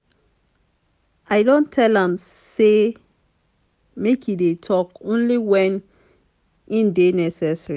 i don tell am sey make e dey tok only wen e dey necessary.